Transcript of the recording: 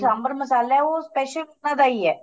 ਸਾਂਬਰ ਮਸਾਲਾ ਉਹ special ਉਹਨਾ ਦਾ ਈ ਏ